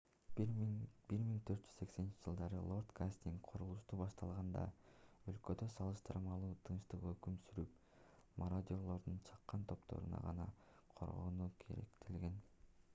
1480-жылдары лорд гастинг курулушту баштаганда өлкөдө салыштырмалуу тынчтык өкүм сүрүп мародёрлордун чакан топторунан гана коргонуу керектелген